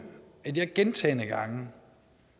at jeg gentagne gange